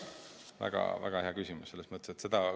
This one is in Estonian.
Väga-väga hea küsimus!